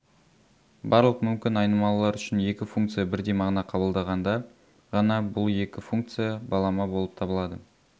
барлық мумкін айнымалылар үшін екі функция бірдей мағына қабылдағанда ғана бұл екі функция балама болып табылады